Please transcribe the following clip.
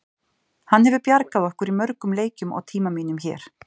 Hann hefur bjargað okkur í mörgum leikjum á tíma mínum hér.